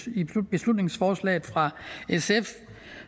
i beslutningsforslaget fra sf